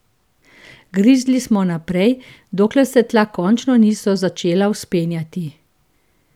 Grizli smo naprej, dokler se tla končno niso začela vzpenjati.